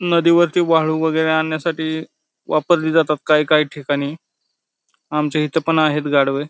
नदी वरती वाळू वगैरे आणण्यासाठी वापरले जातात काय काय ठिकाणी आमच्या इथे पण आहेत गाढवे --